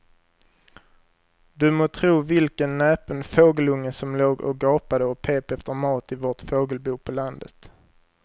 Du må tro vilken näpen fågelunge som låg och gapade och pep efter mat i vårt fågelbo på landet.